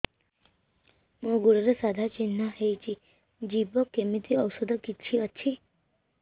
ମୋ ଗୁଡ଼ରେ ସାଧା ଚିହ୍ନ ହେଇଚି ଯିବ କେମିତି ଔଷଧ କିଛି ଅଛି